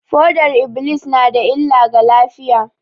Fodar -iblis na da illa ga lafiya